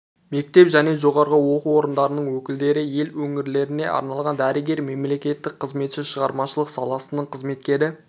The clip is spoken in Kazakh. мектеп және жоғары оқу орындарының өкілдері ел өңірлеріне арналған дәрігер мемлекеттік қызметші шығармашылық саласының қызметкері